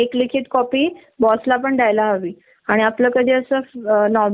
कायद्याने मान्य आहे ती सुद्धा नाही म्हंटल्यावर कस व्हायच न आपल